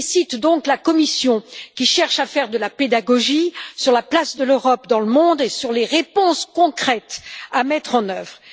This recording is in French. Je félicite donc la Commission, qui cherche à faire de la pédagogie sur la place de l'Europe dans le monde et sur les réponses concrètes à mettre en œuvre.